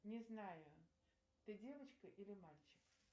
не знаю ты девочка или мальчик